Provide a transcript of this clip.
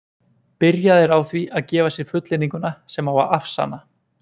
byrjað er á því að gefa sér fullyrðinguna sem á að afsanna